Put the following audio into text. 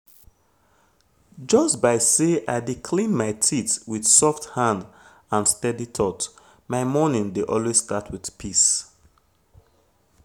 just by say i dey clean my teeth with soft hand and steady thought my morning dey always start wit peace